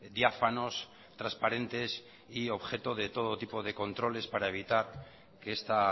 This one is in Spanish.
diáfanos transparentes y objeto de todo tipo de controles para evitar que esta